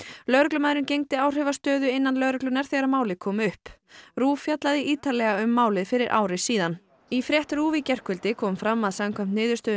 lögreglumaðurinn gegndi áhrifastöðu innan lögreglunnar þegar málið kom upp RÚV fjallaði ítarlega um málið fyrir ári síðan í frétt RÚV í gærkvöldi kom fram að samkvæmt niðurstöðu